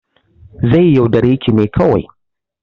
Zai yaudare ki ne kawai